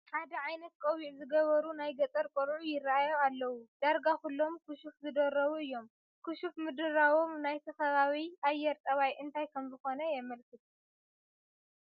ሓደ ዓይነት ቆቢዕ ዝገበሩ ናይ ገጠር ቆልዑ ይርአዩ ኣለዉ፡፡ ዳርጋ ኩሎም ክሹፍ ዝደረቡ እዮም፡፡ ክሹፍ ምድራቦም ናይቲ ከባቢ ኣየር ጠባይ እንታይ ከምዝኾነ የመልክት?